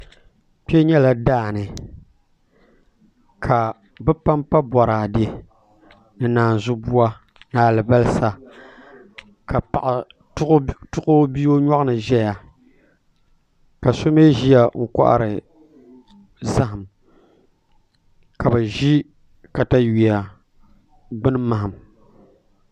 Kpɛ nyɛla daani ka bi panpa boraadɛ ni naazu buwa ni alibarisa ka paɣa tuɣu o bia o nyoɣani ʒɛya ka so mii ʒiya n kohari zaham ka bi ʒi katawiya gbuni maham